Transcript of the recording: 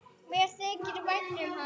Mér þykir vænt um hann.